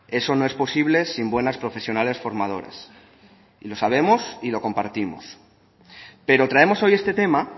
eso no es posible sin buenas profesionales formadoras lo sabemos y lo compartimos pero traemos hoy este tema